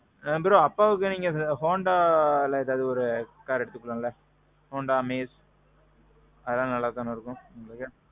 ஆ. bro. அப்பாவுக்கு நீங்க ஏதாவது Hondaல ஏதாவது car எடுத்துக்கலாம்லே. Honda Amaze. அதெல்லாம் நல்லா தானே இருக்கும் உங்களுக்கு.